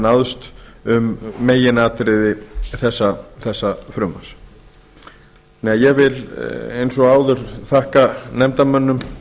náðst um meginatriði þessa frumvarps ég vil því eins og áður þakka nefndarmönnum